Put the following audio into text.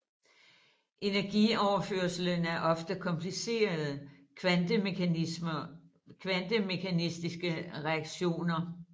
Energioverførslen er ofte komplicerede kvantemekaniske reaktioner